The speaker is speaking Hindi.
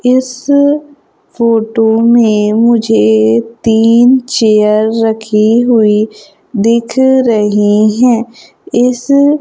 इस फोटो में मुझे तीन चेयर रखी हुई दिख रही है इस--